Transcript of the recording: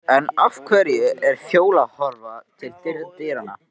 En af hverju er Fjóla að horfa til dyranna?